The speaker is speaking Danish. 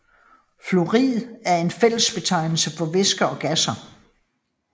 Fluid er en fællesbetegnelse for væsker og gasser